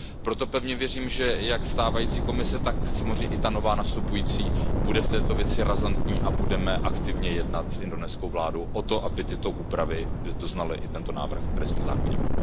Proto pevně věřím, že jak stávající Komise, tak samozřejmě i ta nově nastupující bude v této věci razantní a budeme aktivně jednat s indonéskou vládou o tom, aby tyto úpravy doznal i tento návrh trestního zákoníku.